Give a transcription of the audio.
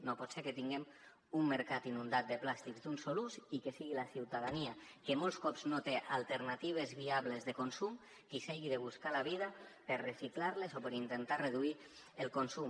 no pot ser que tinguem un mercat inundat de plàstics d’un sol ús i que sigui la ciutadania que molts cops no té alternatives viables de consum qui s’hagi de buscar la vida per reciclar los o per intentar reduir ne el consum